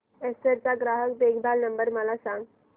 Acer चा ग्राहक देखभाल नंबर मला सांगा